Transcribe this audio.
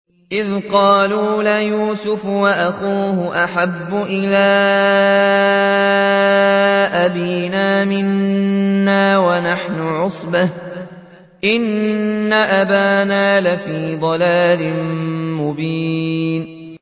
إِذْ قَالُوا لَيُوسُفُ وَأَخُوهُ أَحَبُّ إِلَىٰ أَبِينَا مِنَّا وَنَحْنُ عُصْبَةٌ إِنَّ أَبَانَا لَفِي ضَلَالٍ مُّبِينٍ